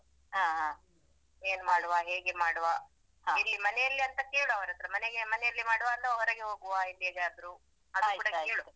ಏನ್ ಮಾಡುವ ಹೇಗೆ ಮಾಡುವ ಮನೆಯಲ್ಲಿಯಾ ಎಂತ ಕೇಳು ಅವರತ್ರ ಮನೆಗೆ ಮನೆಯಲ್ಲಿ ಮಾಡುವ ಅಥವಾ ಹೊರಗೆ ಹೋಗುವ ಎಲ್ಲಿಗಾದ್ರು ಕೂಡ ಕೇಳು.